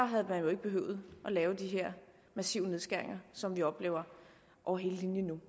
havde man jo ikke behøvet at lave de her massive nedskæringer som vi nu oplever over hele linjen